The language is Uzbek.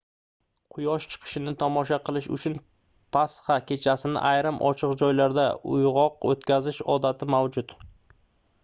quyosh chiqishini tomosha qilish uchun pasxa kechasini ayrim ochiq joylarda uygʻoq oʻtkazish odati mavjud